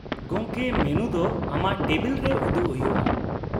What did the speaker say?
-ᱜᱚᱢᱠᱮ, ᱢᱮᱱᱩ ᱫᱚ ᱟᱢᱟᱜ ᱴᱮᱵᱤᱞ ᱨᱮ ᱩᱫᱩᱜ ᱦᱩᱭᱩᱜᱼᱟ ᱾